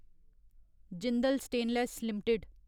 Jindal stainless limited